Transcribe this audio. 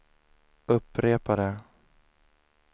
upprepade